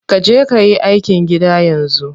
Kaje kayi aikin gida yanzu.